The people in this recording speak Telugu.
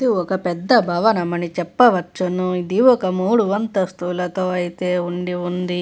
ఒక పెద్ద భవనమని చెప్పవచ్చును. ఇది ఒక మూడు అంతస్తులతో అయితే ఉండి ఉంది.